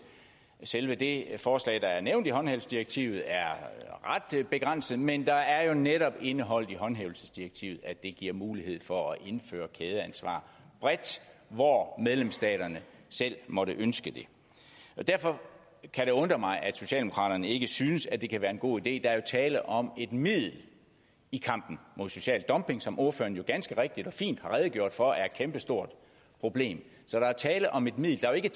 selve det forslag der er nævnt i håndhævelsesdirektivet er ret begrænset men der er jo netop indeholdt i håndhævelsesdirektivet at det giver mulighed for at indføre kædeansvar bredt hvor medlemsstaterne selv måtte ønske det derfor kan det undre mig at socialdemokraterne ikke synes at det kan være en god idé der er jo tale om et middel i kampen mod social dumping som ordføreren jo ganske rigtigt og fint har redegjort for er et kæmpestort problem så der er tale om et middel der er jo